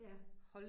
Ja